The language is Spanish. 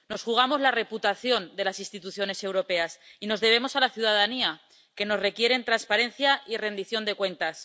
Nos jugamos la reputación de las instituciones europeas y nos debemos a la ciudadanía, que nos requiere transparencia y rendición de cuentas.